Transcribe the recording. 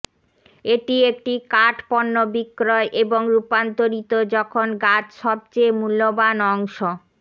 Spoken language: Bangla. এটি একটি কাঠ পণ্য বিক্রয় এবং রূপান্তরিত যখন গাছ সবচেয়ে মূল্যবান অংশ